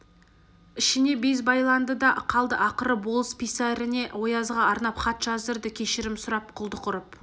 ішіне без байланды да қалды ақыры болыс писаріне оязға арнап хат жаздырды кешірім сұрап құлдық ұрып